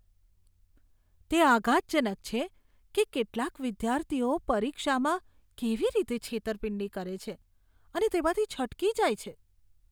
તે આઘાતજનક છે કે કેટલાક વિદ્યાર્થીઓ પરીક્ષામાં કેવી રીતે છેતરપિંડી કરે છે અને તેમાંથી છટકી જાય છે.